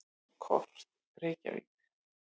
Kort: Reykjavík.